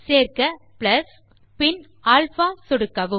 சேர்க்க ப்ளஸ் பின் அல்பா சொடுக்கவும்